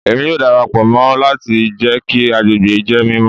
Emi yoo darapọ mọ lati jẹ ki agbegbe jẹ mimọ